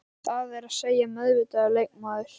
Það er að segja meðvitaður leikmaður.